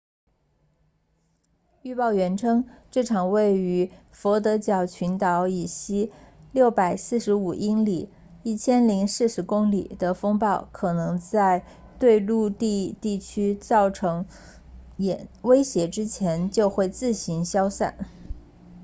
预报员称这场位于佛得角群岛以西645英里1040公里的风暴可能在对陆地地区造成威胁之前就会自行消散